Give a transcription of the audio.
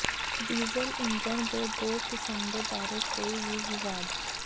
diesel engine ਦੇ ਦੋ ਕਿਸਮ ਦੇ ਬਾਰੇ ਕੋਈ ਵੀ ਵਿਵਾਦ